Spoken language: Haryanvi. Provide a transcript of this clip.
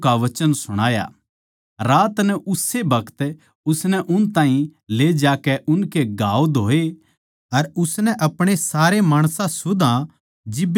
रात नै उस्से बखत उसनै उन ताहीं ले जाकै उनके घाव धोये अर उसनै अपणे सारे माणसां सुदा जिब्बे बपतिस्मा लिया